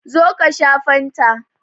Zo ka sha fanta!